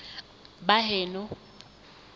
baheno